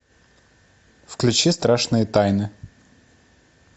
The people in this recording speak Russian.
включи страшные тайны